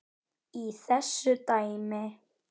í þessu dæmi.